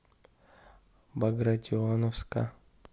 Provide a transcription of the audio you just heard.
багратионовска